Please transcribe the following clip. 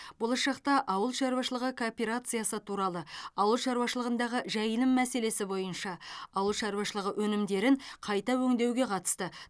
болашақта ауыл шаруашылығы кооперациясы туралы ауыл шаруашылығындағы жайылым мәселесі бойынша ауыл шаруашылығы өнімдерін қайта өңдеуге қатысты